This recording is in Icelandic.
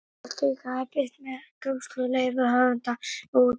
Hvort tveggja er birt með góðfúslegu leyfi höfunda og útgefanda.